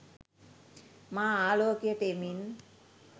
මා ආලෝකයට එමින්